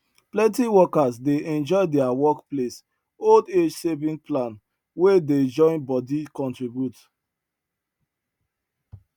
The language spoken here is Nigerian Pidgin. plenty workers dey enjoy their work place old age saving plan wey dey join body contribute